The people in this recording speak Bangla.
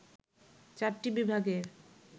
চারটি বিভাগের